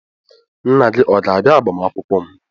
Nna gị ọ ga-abịa agbamakwụkwọ m?